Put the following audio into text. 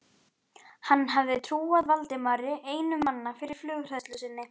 Hann hafði trúað Valdimari einum manna fyrir flughræðslu sinni.